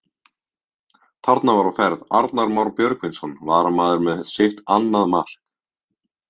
Þarna var á ferð Arnar Már Björgvinsson varamaður með sitt annað mark!